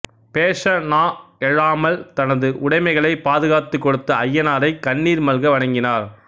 பேச நா எழாமல் தனது உடைமைகளைக் பாதுகாத்துக் கொடுத்த ஐயனாரைக் கண்ணீர் மல்க வணங்கினார்